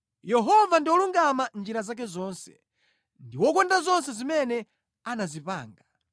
Yehova ndi wolungama mʼnjira zake zonse, ndi wokonda zonse zimene anazipanga.